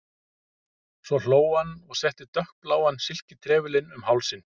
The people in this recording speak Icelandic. Svo hló hann og setti dökkbláan silkitrefilinn um hálsinn.